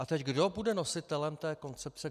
A teď - kdo bude nositelem té koncepce?